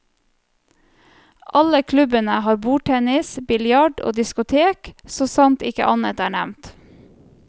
Alle klubbene har bordtennis, biljard og diskotek, så sant ikke annet er nevnt.